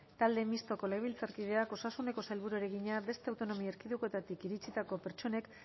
talde mistoko legebiltzarkideak osasuneko sailburuari egina beste autonomia erkidegoetatik iritsitako pertsonek